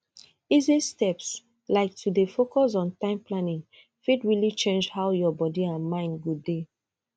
easy steps like to dey focus on time planning fit really change how your body and mind go dey